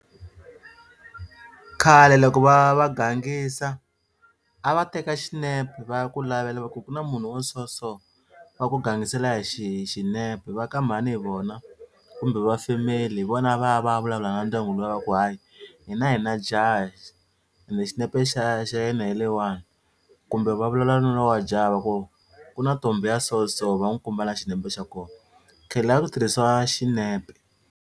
Khale loko va va gangisa a va teka xinepe va ya ku lavela va ku ku na munhu wa so so va ku gangisela hi xi hi xinepe va ka mhani hi vona kumbe va family hi vona a va ya vulavula na ndyangu luya va ku hayi hina hi na jaha and xinepe xa xa yena hi leyiwani kumbe va vulavula na loyi wa jaha va ku ku na ntombhi ya so so va n'wi komba na xinepe xa kona khale a ku tirhisiwa xinepe.